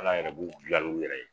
ALA yɛrɛ b'u bila n'u yɛrɛ ye.